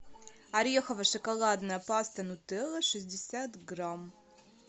орехово шоколадная паста нутелла шестьдесят грамм